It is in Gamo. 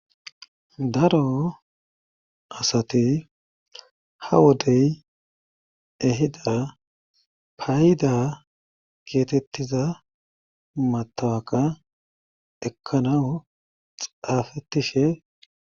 daro asati ha wodey ehida payida geetettiza matawaqa ekkanawu xaafettishe